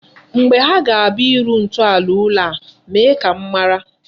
Mgbe ha ga-abịa ịrụ ntọala ụlọ a, mee ka m mara.